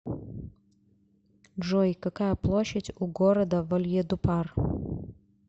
джой какая площадь у города вальедупар